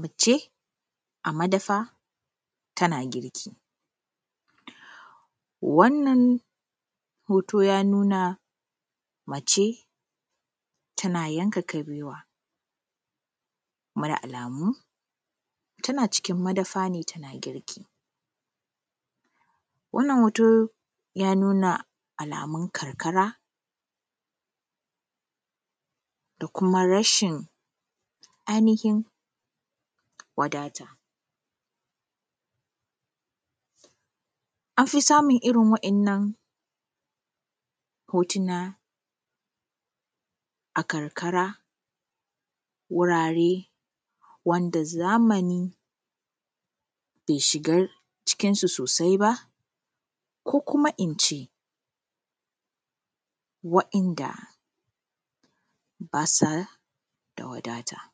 Mace, a madafa tana girki. Wannan hoto yana nuna mace tana yanka kabewa Kuma, da alamu tana cikin madafa ne tana girki. Wannan hoto, yana nuna alamun karkara da kuma rashin ainhin wadata. An fi samun irin waɗannan hotuna a karkara. Wurare ne wanda zamani be shigar cikin su sosai ba, ko kuma in ce, wa’inda ba sa da wadata.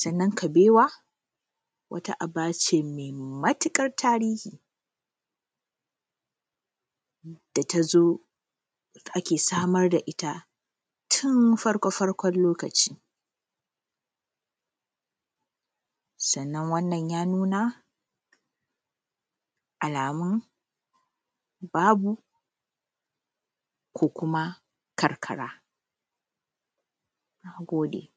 Sannan, kabewa wata aba ce me matiƙar tarihi da ta zo ake samar da ita tun farkofarkon lokaci. Sannan, wannan yana nuna alamu babu ko kuma karkara. Mun gode.